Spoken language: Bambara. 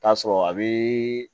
Taa sɔrɔ a bi